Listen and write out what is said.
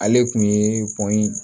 Ale kun ye pɔnyi